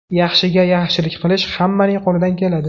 Yaxshiga yaxshilik qilish hammaning qo‘lidan keladi.